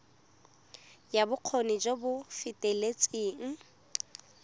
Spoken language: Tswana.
ya bokgoni jo bo feteletseng